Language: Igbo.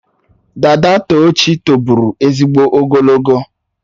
Dada Tochi tobụrụ ezigbo ogologo.